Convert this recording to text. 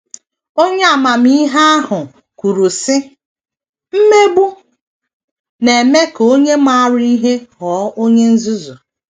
Onye amamihe ahụ kwuru, sị: “ Mmegbu na - eme ka onye maara ihe ghọọ onye nzuzu. ”